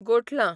गोठलां